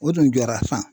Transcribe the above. O dun jɔra